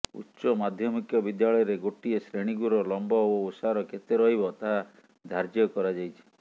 ଉଚ୍ଚ ମାଧ୍ୟମିକ ବିଦ୍ୟାଳୟରେ ଗୋଟିଏ ଶ୍ରେଣୀଗୃହର ଲମ୍ବ ଓ ଓସାର କେତେ ରହିବ ତାହା ଧାର୍ଯ୍ୟ କରାଯାଇଛି